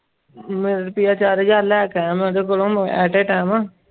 ਮੈਂ ਰੁਪਈਆਂ ਚਾਰ ਹਜ਼ਾਰ ਲੈ ਕੇ ਆਇਆ ਮੈਂ ਉਹਦੇ ਕੋਲੋਂ at a time